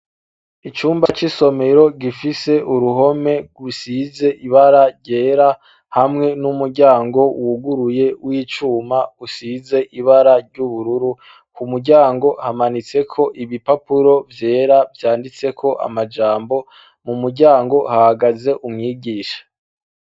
Icumba c'isomero gifise uruhome gusize ibara ryera hamwe n'umuryango wuguruye w'icuma usize ibara ry'ubururu. Ku muryango hamanitse ko ibipapuro vyera byanditse ko amajambo mu muryango hagaze umwigisha.